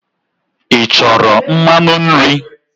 Ị chọrọ mmanụ nri?